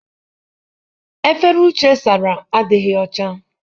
Efere Uche sara adịghị ọcha.